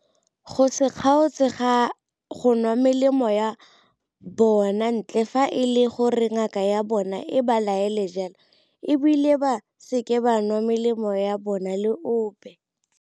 Go se kgaotse go nwa melemo ya bona ntle fa e le gore ngaka ya bona e ba laetse jalo e bile ba seke ba nwa melemo ya bona le ope.